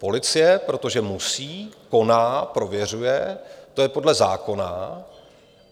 Policie, protože musí, koná, prověřuje, to je podle zákona.